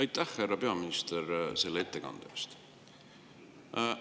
Aitäh, härra peaminister, selle ettekande eest!